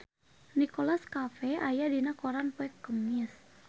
Nicholas Cafe aya dina koran poe Kemis